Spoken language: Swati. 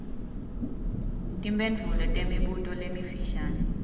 timphendvulo temibuto lemifishane